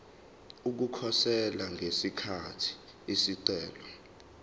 ukukhosela ngesikhathi isicelo